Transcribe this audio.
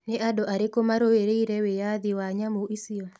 Nĩ andũ arĩkũ marũĩrĩire wĩyathi wa nyamũ icio?